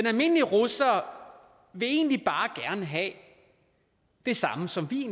almindelige russere vil egentlig bare gerne have det samme som vi